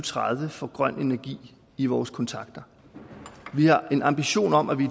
tredive får grøn energi i vores kontakter vi har en ambition om at vi i